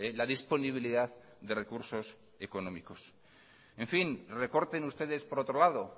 la disponibilidad de recursos económicos en fin recorten ustedes por otro lado